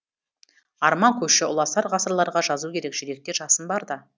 арман көші ұласар ғасырларға жазу керек жүректе жасын барда